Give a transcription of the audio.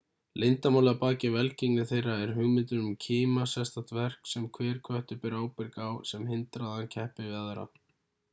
leyndarmálið að baki velgengni þeirra er hugmyndin um kima sérstakt verk sem hver köttur ber ábyrg á sem hindrar að hann keppir við aðra